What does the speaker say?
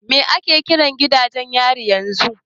Me ake kiran gidajen yari yanzu?